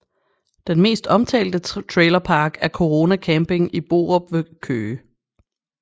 Den mest omtalte trailerpark er Corona Camping i Borup ved Køge